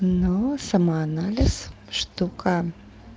но самоанализ штука